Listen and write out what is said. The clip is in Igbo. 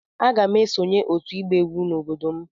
Aga m esonye otu ịgba egwu n'obodo m.